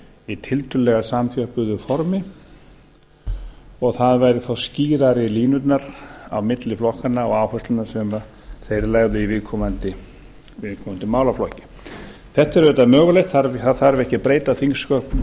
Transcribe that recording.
í tiltölulega samþjöppuðu formi og það væru þá skýrari línurnar á milli flokkanna og áherslnanna sem þeir leggðu í viðkomandi málaflokki þetta er auðvitað mögulegt það þarf ekki að breyta þingsköpum til